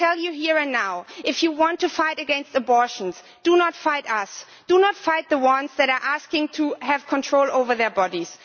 I tell you here and now that if you want to fight against abortion, do not fight us do not fight the women asking to have control over their bodies.